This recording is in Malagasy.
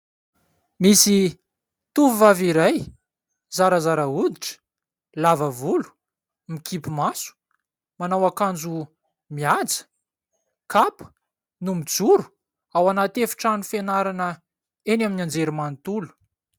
Misy tovovavy iray, zarazara hoditra, lava volo, mikipy maso, manao akanjo mihaja, kapa, no mijoro ao anaty efitrano fianarana eny amin'ny anjerimanontolo.